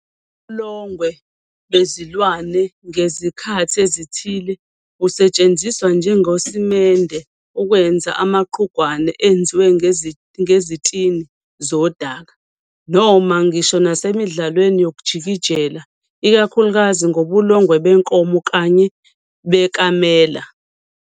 Ubulongwe bezilwane ngezikhathi ezithile busetshenziswa njengosimende ukwenza amaqhugwane enziwe ngezitini zodaka, noma ngisho nasemidlalweni yokujikijela, ikakhulukazi ngobulongwe benkomo kanye bekamela.